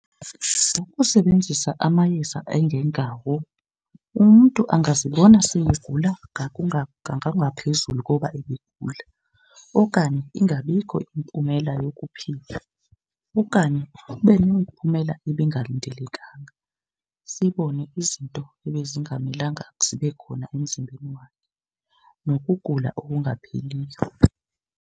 Ukusebenzisa amayeza angengawo umntu angazibona seyegula ngokungaphezulu koba ebegula okanye ingabikho impumela yokuphila. Okanye kube nemiphumela ebingalindelekanga, sibone izinto ebezingamelanga zibe khona emzimbeni wakhe nokugula okungapheliyo.